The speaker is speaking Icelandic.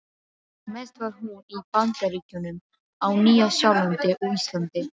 Mest var hún í Bandaríkjunum, á Nýja-Sjálandi og Íslandi.